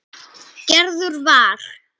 Gerður var.